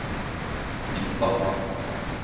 nytta